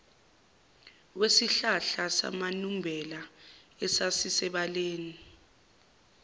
wesihlahla samanumbela esasisebaleni